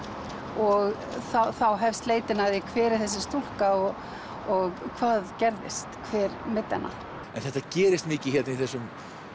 og þá hefst leitin að því hver er þessi stúlka og og hvað gerðist hver meiddi hana en þetta gerist mikið hérna í þessum